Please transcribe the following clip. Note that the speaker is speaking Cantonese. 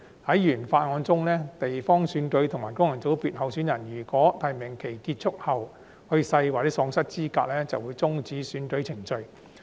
在原法案中，地方選區和功能界別候選人如果在提名期結束後去世或喪失資格，便會終止選舉程序。